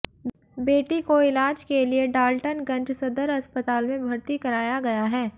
बेटी को इलाज के लिए डाल्टनगंज सदर अस्पताल में भर्ती कराया गया है